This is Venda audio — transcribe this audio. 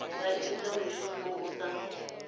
vha ita mushumo u sa